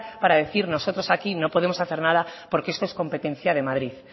para decir nosotros aquí no podemos hacer nada porque esto es competencia de madrid